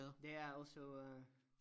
Det er også på øh